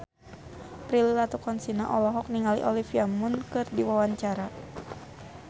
Prilly Latuconsina olohok ningali Olivia Munn keur diwawancara